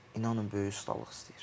İnanın böyük ustalıq istəyir.